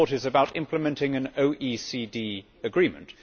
This report is about implementing an OECD agreement.